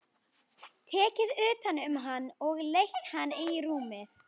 Tekið utan um hann og leitt hann í rúmið.